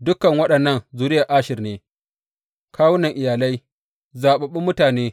Dukan waɗannan zuriyar Asher ne, kawunan iyalai, zaɓaɓɓun mutane,